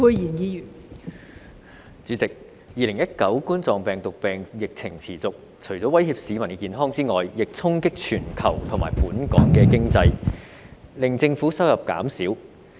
代理主席 ，2019 冠狀病毒病疫情持續，除了威脅市民的健康外，亦衝擊全球及本港經濟，令政府收入減少。